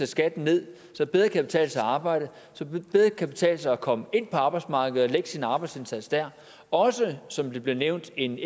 skatten ned så det bedre kan betale sig at arbejde så det bedre kan betale sig at komme ind på arbejdsmarkedet og lægge sin arbejdsindsats der og også som det blev nævnt en